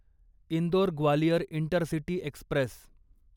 Indore Gwalior intercity Express